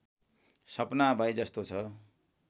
सपना भए जस्तो छ